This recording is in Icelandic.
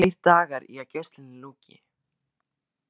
Tveir dagar í að gæslunni ljúki.